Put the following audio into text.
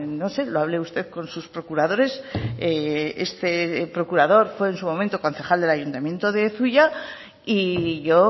no sé lo hable usted con sus procuradores este procurador fue en su momento concejal del ayuntamiento de zuia y yo